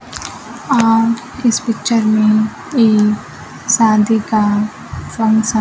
आप इस पिक्चर में एक शादी का फंक्शन --